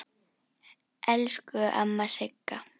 Elsku amma Sigga.